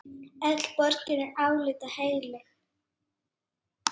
Öll borgin er álitin heilög.